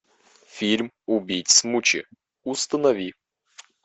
фильм убить смучи установи